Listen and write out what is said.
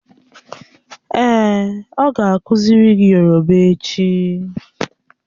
Èè, o ga akuziri gi yoroba echi.